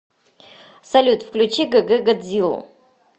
салют включи г г годзилу